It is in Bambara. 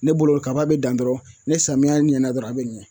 Ne bolo kaba bɛ dan dɔrɔn ni samiyɛ ɲɛna dɔrɔn a bɛ ɲɛ